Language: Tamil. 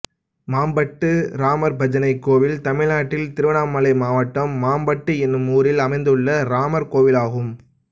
மாம்பட்டு ராமர்பஜனை கோயில் தமிழ்நாட்டில் திருவண்ணாமலை மாவட்டம் மாம்பட்டு என்னும் ஊரில் அமைந்துள்ள ராமர் கோயிலாகும்